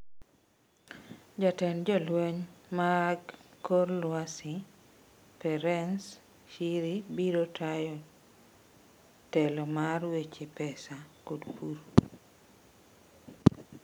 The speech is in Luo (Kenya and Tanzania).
Jatend Jolweny mag kor lwasi, Perence Shiri, biro tayo otelo mar weche pesa kod pur.